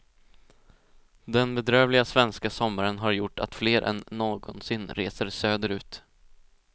Den bedrövliga svenska sommaren har gjort att fler än någonsin reser söderut.